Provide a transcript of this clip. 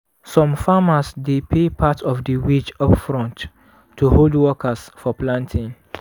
some farmers dey pay part of di wage upfront to hold workers for planting.